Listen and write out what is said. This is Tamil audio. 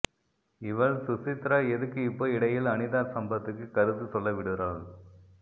இவள் சுசித்ரா எதுக்கு இப்போ இடையில் அனிதா சம்பத்துக்கு கருத்து சொல்ல விடுறாள்